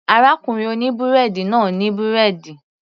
Arákùnrin oní búrẹ́dì náà ní búrẹ́dì